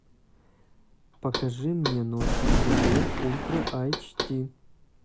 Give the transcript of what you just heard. покажи мне ночь на земле ультра айч ди